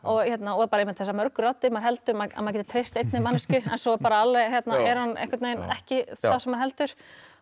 og einmitt þessar mörgu raddir maður heldur að maður geti treyst einni manneskju en svo er hún ekki sú sem maður heldur